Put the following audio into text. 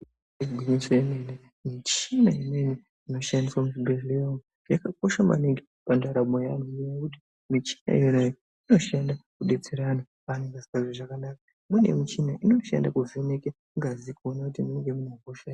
Igwinyiso remene michina imweni inoshandiswa muzvibhedhlera umu yakakosha maningi pandaramo yevanhu ngekuti michina iyi inoshanda kudetsera antu anenge asinganzwi zvakanaka inoshanda kuvheneka ngazi kuona kuti mune hosha here.